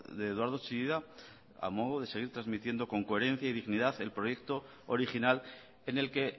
de eduardo chillida a modo de seguir transmitiendo con coherencia y dignidad el proyecto original en el que